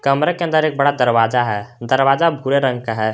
कमरे के अन्दर एक बड़ा दरवाजा है दरवाजा भूरे रंग का है।